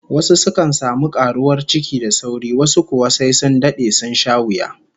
Wasu sukan samu karuwar ciki da sauri, wasu kuwa sai sun dade, sun sha wuya